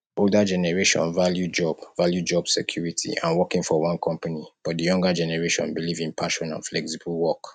older generation value job value job security and working for one company but di younger generation believe in passion and flexible work